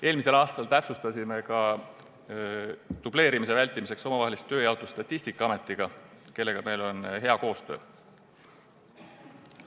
Eelmisel aastal täpsustasime dubleerimise vältimiseks ka omavahelist tööjaotust Statistikaametiga, kellega meil on hea koostöö.